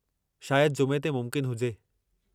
शायदि जुमे ते मुमकिन हुजे।